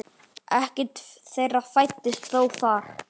Ekkert þeirra fæddist þó þar.